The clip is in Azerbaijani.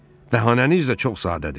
Bəhanəniz də çox sadədir.